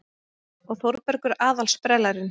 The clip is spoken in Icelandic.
Og Þórbergur aðal-sprellarinn.